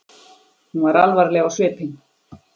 Hún var alvarleg á svipinn.